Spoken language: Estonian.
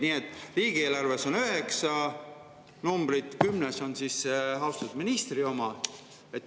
Nii et riigieelarves on üheksa numbrit ja kümnes on austatud ministri oma.